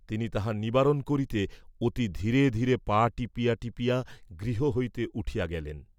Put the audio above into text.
তিনি তাহা নিবারণ করিতে অতি ধীরে ধীরে পা টিপিয়া টিপিয়া গৃহ হইতে উঠিয়া গেলেন।